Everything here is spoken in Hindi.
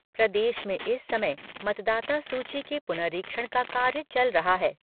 प्रदेश में इस समय मतदाता सूची के पुनरीक्षण का कार्य चल रहा है।